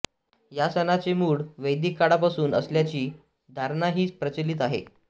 या सणाचे मूळ वैदिक काळापासून असल्याची धारणाही प्रचलित आहे